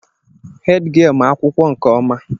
Hèdgịelu ma akwụkwọ nke ọma.